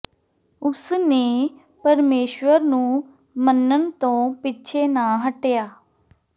ਉਸ ਨੇ ਪਰਮੇਸ਼ੁਰ ਨੂੰ ਮੰਨਣ ਤੋਂ ਪਿੱਛੇ ਨਾ ਹਟਿਆ